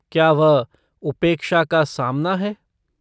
क्या वह 'उपेक्षा का सामना' है?